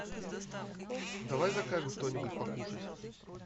давай закажем что нибудь покушать